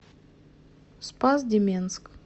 спас деменск